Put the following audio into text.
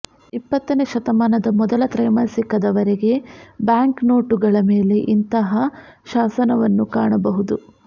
ಇಪ್ಪತ್ತನೇ ಶತಮಾನದ ಮೊದಲ ತ್ರೈಮಾಸಿಕದವರೆಗೆ ಬ್ಯಾಂಕ್ನೋಟುಗಳ ಮೇಲೆ ಇಂತಹ ಶಾಸನವನ್ನು ಕಾಣಬಹುದು